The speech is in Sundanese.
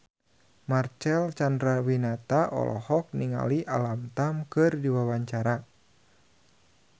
Marcel Chandrawinata olohok ningali Alam Tam keur diwawancara